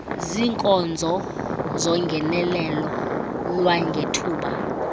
ziinkonzo zongenelelo lwangethuba